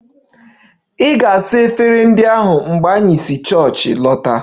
Ị ga-saa efere ndi ahu mgbe anyị si chọọchị lọta!